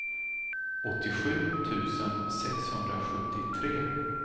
åttiosju tusen sexhundrasjuttiotre